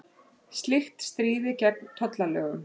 Slíkt stríði gegn tollalögum